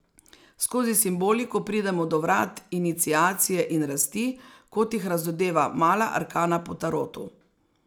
Skozi simboliko pridemo do vrat iniciacije in rasti, kot jih razodeva mala arkana po tarotu.